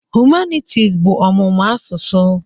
Humanities bụ ọmụmụ asụsụ.